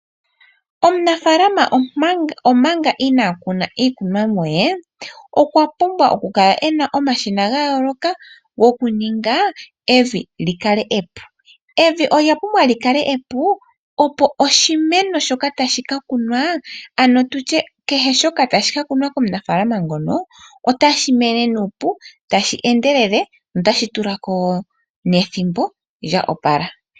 Omunafalama omanga inaa kuna iikunwamo yee okwa pumbwa okukala ena omashina gayooloka gokuninga evi lyikale epu. Evi olya pumbwa lyikale epu opo oshimeno keshe shoka tashi ka kunwa komunafaalama ngono otashi mene nuupu tashi endelele notashi tulako nethimbo lya opala.